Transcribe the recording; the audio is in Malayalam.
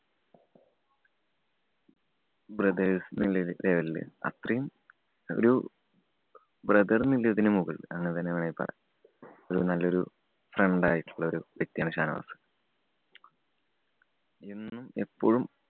Brothers എന്ന level ലില് അത്രയും ഒരു brother എന്നതിന് മുകളില് അങ്ങനെതന്നെ വേണേ പറയാം. ഒരു നല്ല ഒരു friend ആയിട്ടുള്ള വ്യക്തിയാണ് ഷാനവാസ്‌ എന്നും, എപ്പോഴും